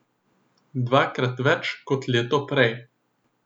Dvakrat več kot leto prej.